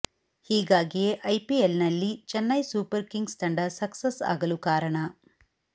ಹೀಗಾಗಿಯೇ ಐಪಿಎಲ್ನಲ್ಲಿ Chennai Super Kings ತಂಡ ಸಕ್ಸಸ್ ಆಗಲು ಕಾರಣ